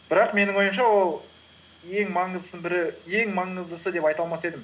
бірақ менің ойымша ол ең маңыздысы деп айта алмас едім